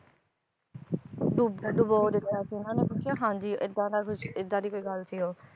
ਡੁੱਬ~ ਡੁਬੋ ਦਿੱਤਾ ਸੀ ਇਹਨਾਂ ਨੇ ਹਾਂਜੀ ਏਦਾਂ ਦਾ ਕੁਛ ਏਦਾਂ ਦੀ ਕੋਈ ਗੱਲ ਸੀ ਉਹ